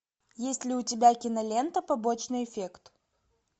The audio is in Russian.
есть ли у тебя кинолента побочный эффект